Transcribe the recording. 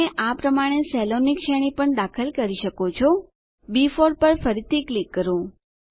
તમે આ પ્રમાણે સેલોની શ્રેણી પણ દાખલ કરી શકો છો બી4 પર ફરીથી ક્લિક કરો